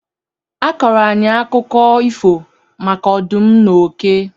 A kọọrọ anyị akụkọ ifo maka ọdụm na oke.